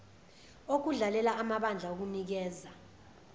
okudlalela amabandla okunikeza